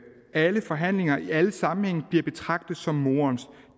alle forhandlinger alle sammenhænge bliver betragtet som morens